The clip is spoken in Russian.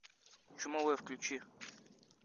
чумовой включи